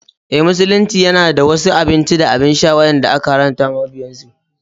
Eh, Musulunci yana da wasu abinci da abin sha wadanda aka haramta wa mabiyansu.